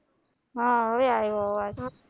હા હવે આવ્યો અવાજ